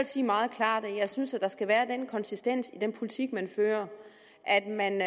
sige meget klart at jeg synes der skal være den konsistens i den politik man fører at man